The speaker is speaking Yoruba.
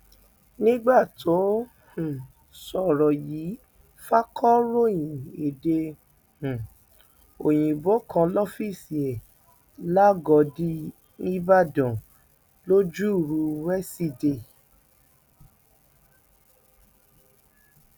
nígbà tó ń um sọrọ yìí fakọròyìn èdè um òyìnbó kan lọfíìsì ẹ làgọdì nííbàdàn lojoruu wesidee